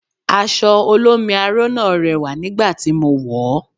Aṣọ olómi aró náà rẹwà nígbà tí mo wọ̀ ọ́